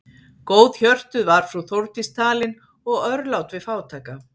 Góðhjörtuð var frú Þórdís talin og örlát við fátæka.